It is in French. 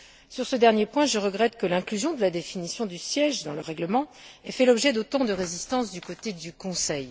Sur ce dernier point, je regrette que l'inclusion de la définition du siège dans le règlement ait fait l'objet d'autant de résistance du côté du Conseil.